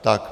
Tak.